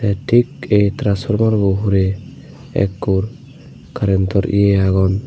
ei thik ei traspormarbo hurey ekkur karentor ye agon.